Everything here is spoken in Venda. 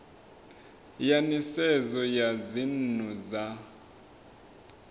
ya nisedzo ya dzinnu dza